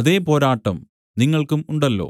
അതേ പോരാട്ടം നിങ്ങൾക്കും ഉണ്ടല്ലോ